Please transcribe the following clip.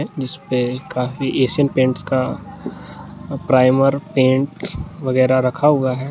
जिसपे काफी Asian Paints का प्राइमर पेंट वगैरा रखा हुआ है।